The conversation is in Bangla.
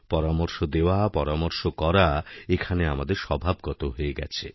পরামর্শ দেওয়া পরামর্শ করা এখানেআমাদের স্বভাবগত হয়ে গেছে